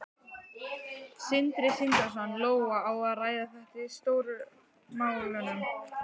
Sindri Sindrason: Lóa, á að ræða þetta í Stóru málunum?